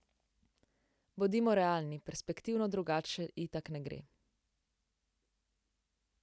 Bodimo realni, perspektivno drugače itak ne gre.